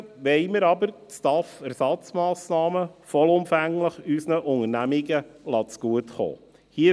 Stattdessen wollen wir aber die STAF-Ersatzmassnahmen vollumfänglich unseren Unternehmen zugutekommen lassen.